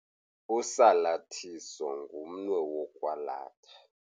Usalathiso ngumnwe wokwalatha.